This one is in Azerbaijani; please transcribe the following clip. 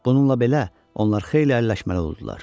Bununla belə, onlar xeyli əlləşməli oldular.